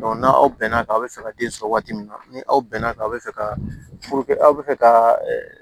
n'aw bɛn n'a kan a be fɛ ka den sɔrɔ waati min na ni aw bɛn'a kan aw bɛ fɛ ka aw bɛ fɛ ka